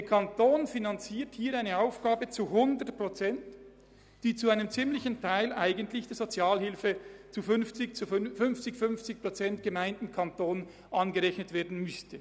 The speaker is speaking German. Der Kanton finanziert hier eine Aufgabe zu 100 Prozent, die eigentlich zwischen Gemeinden und Kanton halbiert werden müsste.